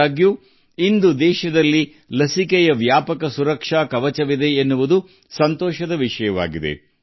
ಆದಾಗ್ಯೂ ಇಂದು ದೇಶವು ಲಸಿಕೆಯ ಸಮಗ್ರ ರಕ್ಷಣಾತ್ಮಕ ಕವಚವನ್ನು ಹೊಂದಿದೆ ಎಂಬುದು ತೃಪ್ತಿಯ ವಿಷಯವಾಗಿದೆ